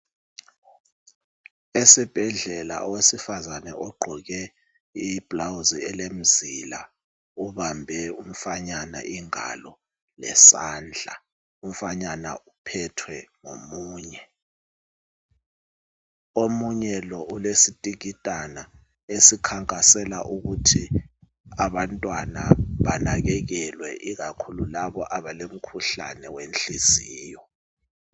Esibhedlela owesifazana ogqoke iblouse elemizila ubambe umfanyana ingalo lezandla. Umfanyana uphethe ngomunye. Omunye lo ulesitikitana esikhankasela ukuthi abantwana banakekelwe ikakhulu labo abalomkhuhlane wenhliziyo.